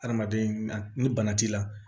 Adamaden ni bana t'i la